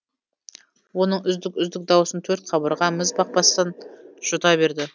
оның үздік үздік даусын төрт қабырға міз бақпастан жұта берді